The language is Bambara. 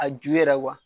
A ju yɛrɛ